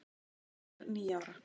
ég er níu ára.